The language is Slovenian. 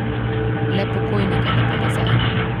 Le pokojnika ne bo nazaj.